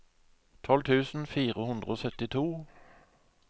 tolv tusen fire hundre og syttito